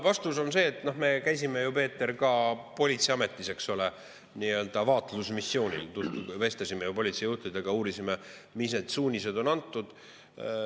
Vastus on see, et me käisime ju, Peeter, ka politseiametis, eks ole, nii-öelda vaatlusmissioonil, vestlesime politsei juhtidega, uurisime, mis suunised on antud.